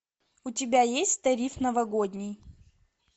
у тебя есть тариф новогодний